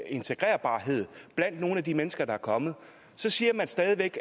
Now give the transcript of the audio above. integrerbarhed blandt nogle af de mennesker der er kommet så siger man stadig væk